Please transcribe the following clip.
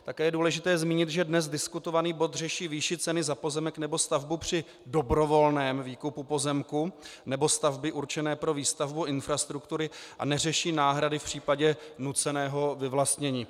Také je důležité zmínit, že dnes diskutovaný bod řeší výši ceny za pozemek nebo stavbu při dobrovolném výkupu pozemku nebo stavby určené pro výstavbu infrastruktury a neřeší náhrady v případě nuceného vyvlastnění.